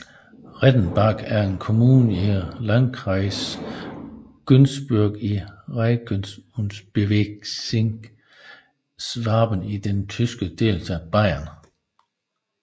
Rettenbach er en kommune i Landkreis Günzburg i Regierungsbezirk Schwaben i den tyske delstat Bayern